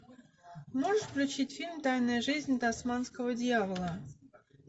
можешь включить фильм тайная жизнь тасманского дьявола